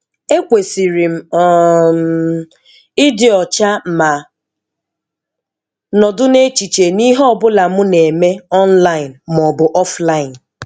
Ékwèsìrì m um ị́dị ọcha mà nọ̀dụ́ n'èchìchè n'íhé ọ́bụlà mụ́ nà èmé online ma ọ bụ offline